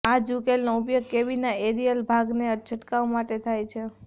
આ જ ઉકેલનો ઉપયોગ કોબીના એરિયલ ભાગને છંટકાવ કરવા માટે થાય છે